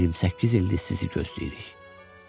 28 ildir sizi gözləyirik.